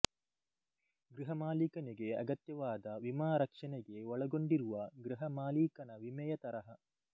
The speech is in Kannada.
ಗೃಹ ಮಾಲೀಕನಿಗೆ ಅಗತ್ಯವಾದ ವಿಮಾ ರಕ್ಷಣೆಗೆ ಒಳಗೊಂಡಿರುವ ಗೃಹ ಮಾಲೀಕನ ವಿಮೆಯ ತರಹ